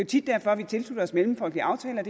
tit derfor at vi tilslutter os mellemfolkelige aftaler